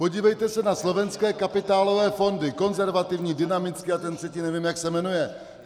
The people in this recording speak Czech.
Podívejte se na slovenské kapitálové fondy - konzervativní, dynamický a ten třetí nevím, jak se jmenuje.